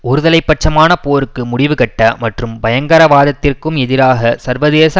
ஒருதலை பட்சமான போருக்கு முடிவு கட்ட மற்றும் பயங்கரவாதத்திற்கும் எதிராக சர்வதேச